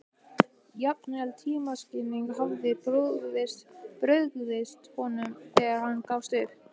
Jafnvel tímaskynið hafði brugðist honum þegar hann gafst upp.